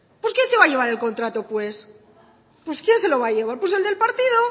pues quién se va a llevar el contrato pues pues quién se lo va a llevar pues el del partido